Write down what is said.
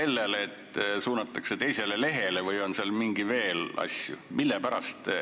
Kas suunatakse teisele lehele või on seal veel asju?